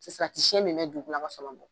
Salati siyɛn min bɛ dugula